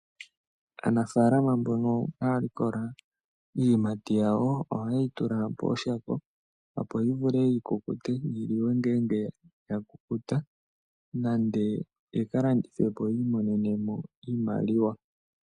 Aanafaalama mbono haa likola iiyimati yawo, oha ye yi tula pooshako, opo yi vule yi kukute, yi liwe ngeenge ya kukuta, nande lwaa yi ka landithwe po, yi imonene iimaliwa.